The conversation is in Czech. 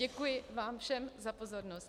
Děkuji vám všem za pozornost.